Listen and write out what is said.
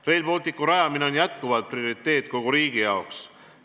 Rail Balticu rajamine on jätkuvalt prioriteet kogu riigi jaoks.